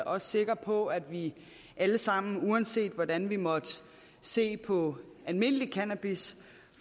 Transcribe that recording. også sikker på at vi alle sammen uanset hvordan vi måtte se på almindelig cannabis